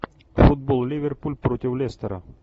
футбол ливерпуль против лестера